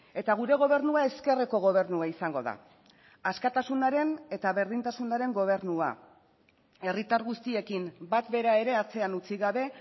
eta gure gobernua ezkerreko gobernua izango da askatasunaren eta berdintasunaren gobernua herritar guztiekin bat bera ere atzean utzi gabe